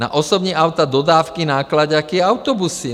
Na osobní auta, dodávky, náklaďáky i autobusy.